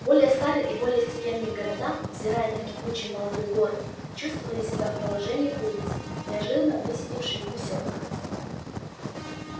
более старые и более степенные города взирая на кипучий молодой город чувствовали себя в положении курицы неожиданно высидевшей гусёнка